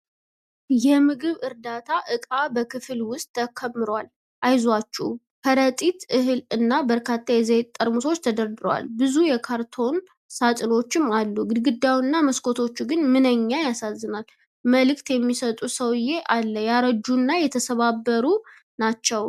የምግብ ዕርዳታ እቃ በክፍል ውስጥ ተከምሯል። “አይዞአችሁ!” ከረጢት እህል እና በርካታ የዘይት ጠርሙሶች ተደርድረዋል። ብዙ የካርቶን ሳጥኖችም አሉ፤ ግድግዳውና መስኮቶቹ ግን “ምንኛ ያሳዝናል!” መልዕክት የሚሰጡ ሰውዬ አለ። ያረጁ እና የተሰባበሩ ናቸው።